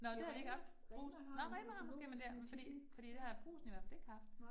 Nå, det har de ikke haft, Brugsen, nåh Rema har måske, men der, fordi fordi det har Brugsen i hvert fald ikke haft